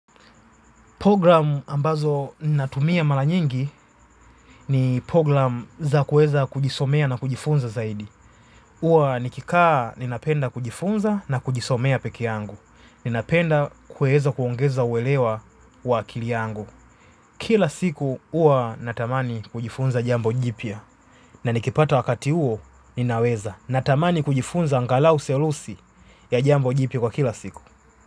Programu ambazo natumia mala nyingi ni programu za kueza kujisomea na kujifunza zaidi. Uwa nikikaa ninapenda kujifunza na kujisomea peke yangu. Ninapenda kueza kuongeza uwelewa wakili yangu. Kila siku uwa natamani kujifunza jambo jipia. Na nikipata wakati uo ninaweza natamani kujifunza angalau selusi ya jambo jipia kwa kila siku.